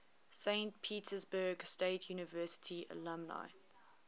saint petersburg state university alumni